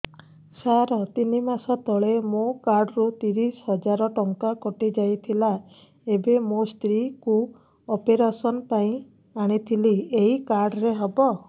ସାର ତିନି ମାସ ତଳେ ମୋ କାର୍ଡ ରୁ ତିରିଶ ହଜାର ଟଙ୍କା କଟିଯାଇଥିଲା ଏବେ ମୋ ସ୍ତ୍ରୀ କୁ ଅପେରସନ ପାଇଁ ଆଣିଥିଲି ଏଇ କାର୍ଡ ରେ ହବ